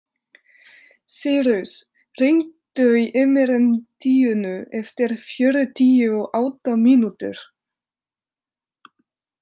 Sírus, hringdu í Emerentíönu eftir fjörutíu og átta mínútur.